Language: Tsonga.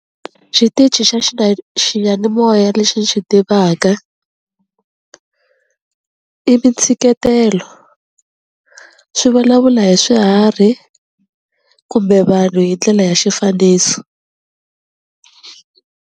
Xitichi xa xiyanimoya lexi ni xi tivaka i mintshiketelo, swi vulavula hi swiharhi kumbe vanhu hi ndlela ya xifaniso.